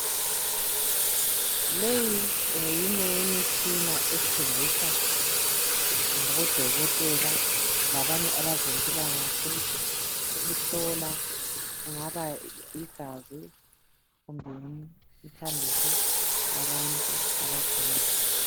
Leyi ngeyinye yemitshina esetshenziswa ngabodokotela labanye abezempilakahle ukuhlola kungaba yigazi kumbe umthambiso yabantu abagulayo.